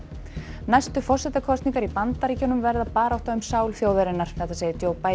næstu forsetakosningar í Bandaríkjunum verða barátta um sál þjóðarinnar segir